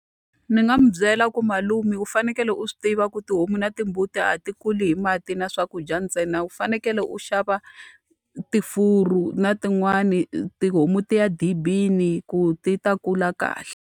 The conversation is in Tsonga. Ndzi nga n'wi byela ku malume u fanekele u swi tiva ku tihomu na timbuti a ti kuli hi mati na swakudya ntsena, u fanekele u xava na tin'wani tihomu ti ya edibini ku ti ta kula kahle.